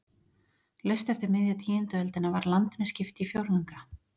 Laust eftir miðja tíundu öldina var landinu skipt í fjórðunga.